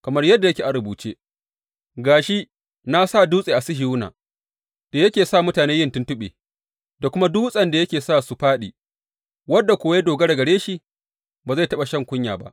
Kamar yadda yake a rubuce, Ga shi, na sa dutse a Sihiyona da yake sa mutane yin tuntuɓe da kuma dutsen da yake sa su fāɗi wanda kuwa ya dogara gare shi ba zai taɓa shan kunya ba.